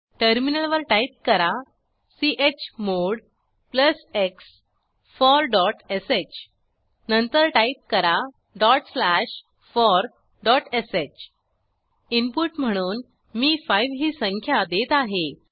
टर्मिनलवर टाईप करा chmod x forश नंतर टाईप करा forsh इनपुट म्हणून मी 5 ही संख्या देत आहे